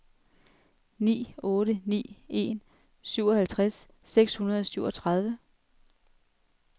ni otte ni en syvoghalvtreds seks hundrede og syvogtredive